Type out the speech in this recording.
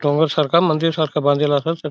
डोंगर सारका मंदिर सारका बांदेला अस.